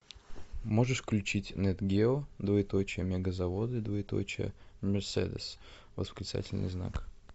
можешь включить нэт гео двоеточие мегазаводы двоеточие мерседес восклицательный знак